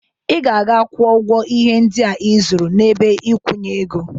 Ị ga-aga gwọ ọgwọ ihe ndịa ị zụrụ n'ebe ikwunye ego.